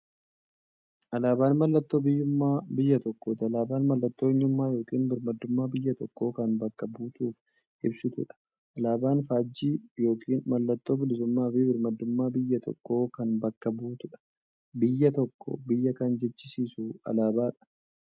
Alaaban mallattoo biyyuummaa biyya tokkooti. Alaabaan mallattoo eenyummaa yookiin birmaadummaa biyya tokkoo kan bakka buutuuf ibsituudha. Alaaban faajjii yookiin maallattoo bilisuummaafi birmaadummaa biyya tokkoo kan bakka buutuudha. Biyya tokko biyya kan jechisisuu alaabadha.